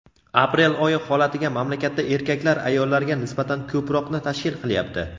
aprel oyi holatiga mamlakatda erkaklar ayollarga nisbatan ko‘proqni tashkil qilyapti.